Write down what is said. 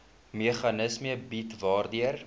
meganisme bied waardeur